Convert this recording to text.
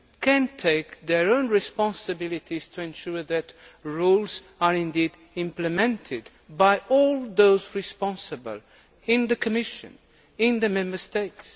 can take your own responsibilities to ensure that the rules are indeed implemented by all those responsible in the Commission and in the Member States.